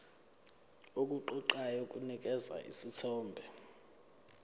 okuqoqayo kunikeza isithombe